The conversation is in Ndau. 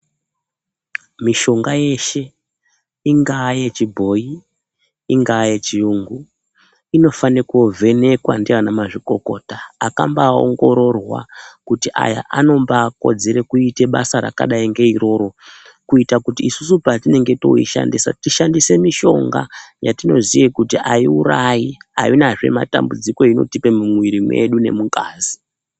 Mishonga yeshe ingaa yechibhoyi, ingaa yechiyungu inofane kuvhenekwa ndiana mazvikokota akambaa ongororwa kuti aya anombaa kodzere kuite basa rakadai ndi iroro kuita kuti isusu patinenge toishandisa tishandise mishonga yatinoziva kuyi aiurayi aina zve matambudziko ainotipa mumuwiri mwedu nemungazi